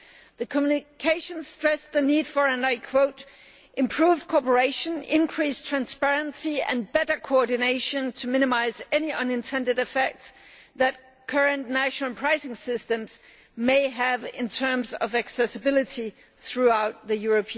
The communication stressed the need for improved cooperation, increased transparency and better coordination to minimise any unintended effects that current national pricing systems may have in terms of accessibility throughout the EU'.